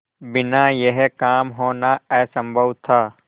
बिना यह काम होना असम्भव था